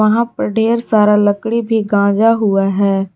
यहां पर ढेर सारा लकड़ी भी गांजा हुआ है।